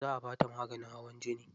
Za a bata maganin hawan jini.